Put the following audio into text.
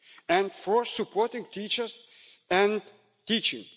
and, fourth, supporting teachers and teaching.